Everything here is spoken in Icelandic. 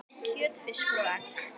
kjöt, fiskur og egg